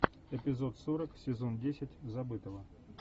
эпизод сорок сезон десять забытого